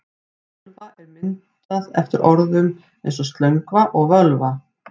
Tölva er myndað eftir orðum eins og slöngva og völva.